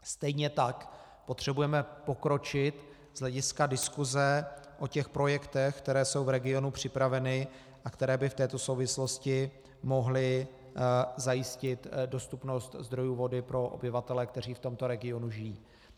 Stejně tak potřebujeme pokročit z hlediska diskuse o těch projektech, které jsou v regionu připraveny a které by v této souvislosti mohly zajistit dostupnost zdrojů vody pro obyvatele, kteří v tomto regionu žijí.